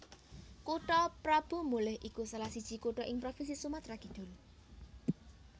Kutha Prabumulih iku salah siji kutha ing Provinsi Sumatra Kidul